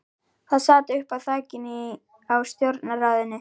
Það sat uppi á þakinu á stjórnarráðinu.